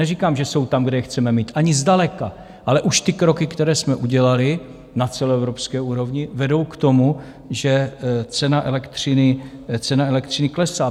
Neříkám, že jsou tam, kde je chceme mít, ani zdaleka, ale už ty kroky, které jsme udělali na celoevropské úrovni, vedou k tomu, že cena elektřiny klesá.